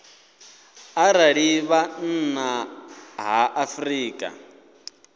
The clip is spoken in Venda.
arali vha nnḓa ha afrika